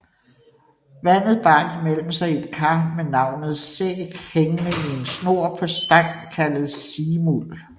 Vandet bar de mellem sig i et kar med navnet Sæg hængende i snor på en stang kaldet Simul